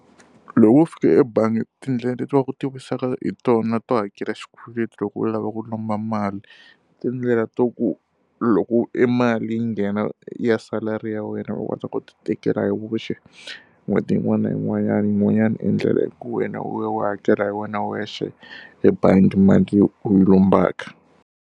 Loko wo fika ebangi tindlela leti va ku hi tona to hakela xikweleti loko u lava ku lomba mali, tindlela ta ku loko emali yi nghena ya salary ya wena u nga ta ku tikela hi voxe n'hweti yin'wana na yin'wanyana. Yin'wanyana endlela i ku wena u ya u ya hakela hi wena wexe ebangi mali u yi lombaka.